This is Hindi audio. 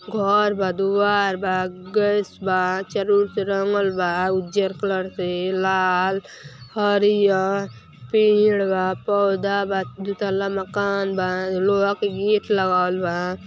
घर बा द्वार बा गैस बा चारो ओर से रंगल बा उज्ज़र कलर से लाल हरिहर पेड़ बा पौधा बा दू तल्ला मकान बा लोहा के गेट लगावल बा --